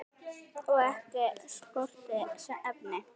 Og ekki skorti efni.